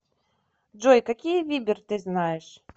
джой какие вибер ты знаешь